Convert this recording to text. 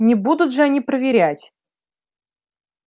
не будут же они проверять